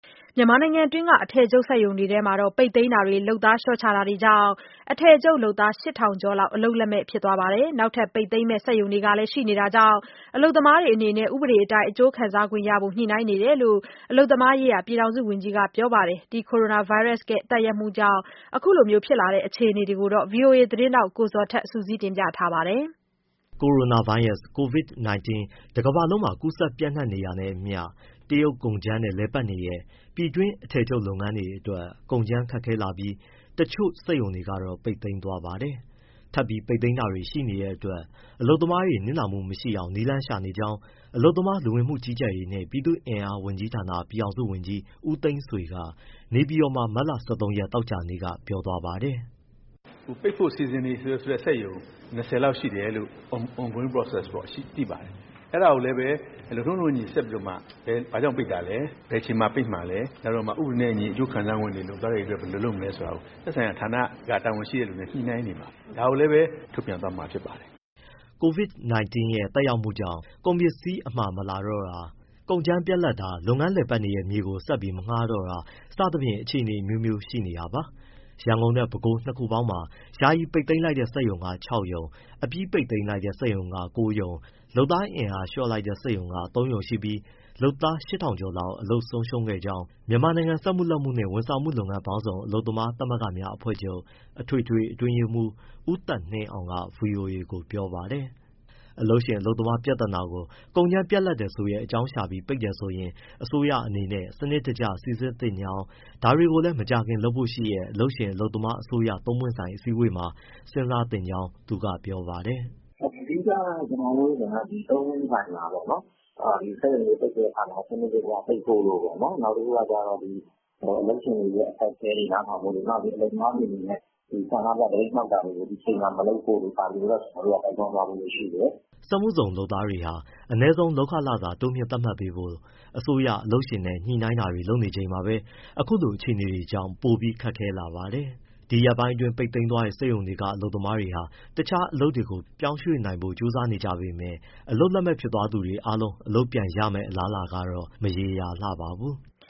မြန်မာနိုင်ငံတွင်း အထည်ချုပ်စက်ရုံတွေထဲက ပိတ်သိမ်းတာတွေ၊ လုပ်သားလျှော့ချတာတွေကြောင့် အထည်ချုပ်လုပ်သား ၈,၀၀၀ ကျော်လောက် အလုပ်လက်မဲ့ဖြစ်နေပါတယ်။ နောက်ထပ် ပိတ်သိမ်းမယ့် စက်ရုံတွေလည်း ရှိနေတာ ကြောင့် အလုပ်သမားတွေအနေနဲ့ ဥပဒေအတိုင်း အကျိုးခံစားခွင့်ရဖို့ ညှိနှိုင်းနေတယ်လို့ အလုပ်သမားရေးရာ ပြည်ထောင်စုဝန်ကြီးက ပြောပါတယ်။ ကိုရိုနာဗိုင်းရပ်စ်ရဲ့ သက်ရောက်မှုကြောင့် အခုလိုဖြစ်လာတဲ့အခြေအနေကို ဗွီအိုအေသတင်းထောက် ကိုဇော်ထက်က ဆက်ပြောပြပါမယ်။ ကိုရိုနာဗိုင်းရပ်စ် Covid-19 တကမ္ဘာလုံးနီးပါးမှာ ပျံ့နှံ့ ကူးစက်နေတာနဲ့အမျှ တရုတ်ကုန်ကြမ်းနဲ့လည်ပတ်နေတဲ့ ပြည်တွင်း အထည်ချုပ်လုပ်ငန်းတွေအတွက် ကုန်ကြမ်းခက်ခဲလာပြီး တချို့စက်ရုံတွေကတော့ ပိတ်သိမ်းသွားပါတယ်။ ထပ်ပြီးပိတ်သိမ်းတာ တွေရှိနေတဲ့အတွက် အလုပ်သမားတွေ နစ်နာမှုမရှိအောင် နည်းလမ်းရှာနေကြောင်း အလုပ်သမား၊ လူဝင်မှုကြီးကြပ်ရေးနှင့် ပြည်သူ့အင်အားဝန်ကြီးဌာန ပြည်ထောင်စုဝန်ကြီး ဦးသိန်းဆွေက နေပြည်တော်မှာ မတ်လ ၁၃ ရက် သောကြာနေ့က ပြောပါတယ်။ “ပိတ်ဖို့ စီစဉ်နေတဲ့စက်ရုံ ၂၀ လောက်ရှိတယ်လို့ on-going process ပေါ့နော် သိပါတယ်။ အဲဒါကိုလည်း လုပ်ထုံး လုပ်နည်းနဲ့အညီ ဆက်ပြီးတော့မှ ဘာကြောင့်ပိတ်တာလဲ၊ ဘယ်အချိန်မှာ ပိတ်မှာလဲ၊ ဥပဒေနဲ့အညီ အကျိုးခံစားခွင့်တွေ၊ လုပ်သားတွေအတွက် ဘယ်လိုလုပ်မလဲဆိုတာကို သက်ဆိုင်ရာ တာဝန်ရှိတဲ့သူနဲ့ ညှိနှိုင်းနေပါတယ်။ ဒါကိုလည်းပဲ ထုတ်ပြန်သွားမှာ ဖြစ်ပါတယ်။” Covid-19 ရဲ့ သက်ရောက်မှုကြောင့် ကုန်ပစ္စည်းအမှာမလာတော့တာ၊ ကုန်ကြမ်းတွေပြတ်တာ၊ လုပ်ငန်းလည်ပတ်နေတဲ့ မြေကို ဆက်ပြီး မငှားတော့တာ စသဖြင့် အခြေအနေအမျိုးမျိုး ရှိနေတာပါ။ ရန်ကုန်နဲ့ ပဲခူးတိုင်း နှစ်ခုပေါင်းမှာ ယာယီပိတ်သိမ်းတဲ့ စက်ရုံက ၆ ရုံ၊ အပြီးပိတ်တဲ့စက်ရုံ ၉ ရုံ၊ အင်အားလျှော့တဲ့စက်ရုံက ၃ ရုံ ရှိပြီး လုပ်သား ၈,၀၀၀ ကျော်လောက် အလုပ်ဆုံးရှုံးခဲ့ကြောင်း မြန်မာနိုင်ငံ စက်မှု၊ လက်မှုနှင့် ဝန်ဆောင်မှုလုပ်ငန်းပေါင်းစုံ အလုပ်သမားသမဂ္ဂများ အဖွဲ့ချုပ် အထွေထွေ အတွင်းရေးမှူး ဦးသက်နှင်းအောင်က ဗွီအိုအေကို ပြောပါတယ်။ အလုပ်ရှင်အလုပ်သမား ပြဿနာကို ကုန်ကြမ်းပြတ်လပ်တယ်ဆိုတဲ့ အကြောင်းရှာပြီး ပိတ်တယ်ဆို ရင် အစိုးရအနေနဲ့ စနစ်တကျစိစစ်သင့်ကြောင်း ဒါတွေကို မကြာခင်လုပ်ဖို့ရှိတဲ့ အလုပ်ရှင် အလုပ်သမား၊ အစိုးရ သုံးပွင့ ်ဆိုင် အစည်းအဝေးမှာ စဉ်းစားသင့်ကြောင်း သူကပြောပါတယ်။ “အဓိက သုံးပွင့်ဆိုင်မှာပေါ့လေ စက်ရုံတွေပိတ်တဲ့အခါမှာ စနစ်တကျပိတ်ဖို့၊ နောက် အလုပ်ရှင်တွေရဲ့ အခက်အခဲတွေ နားထောင်ဖို့၊ နောက် အလုပ်သမားတွေအနေနဲ့ ဆန္ဒပြ သပိတ်မှောက်တာတွေ ဒီအချိန်မှာ မလုပ်ဖို့တို့ ဒီအချိန်မှာ၊ ဒါတွေကို ကျနော်တို့က တိုက်တွန်းသွားဖို့ ရှိတယ်။” စက်မှုဇုန်လုပ်သားတွေဟာ အနည်းဆုံးလုပ်ခလစာ တိုးမြှင့်သတ်မှတ်ပေးဖို့ အစိုးရ၊ အလုပ်ရှင်နဲ့ ညှိနှိုင်းတာတွေလုပ်နေချိန်မှာပဲ အခုလို အခြေအနေတွေကြောင့် ပိုပြီးခက်ခဲလာပါတယ်။ ဒီရက်ပိုင်း ပိတ်သိမ်းသွားတဲ့ စက်ရုံတွေက အလုပ်သမားတွေဟာ တခြားအလုပ်တွေကို ပြောင်းရွှေ့နိုင်ဖို့ ကြိုးစားနေကြပေမဲ့လည်း အလုပ်လက်မဲ့ဖြစ်သွားသူတွေအားလုံး အလုပ်ပြန်ရမယ့် အလားအလာကတော့ မရေရာလှပါဘူး။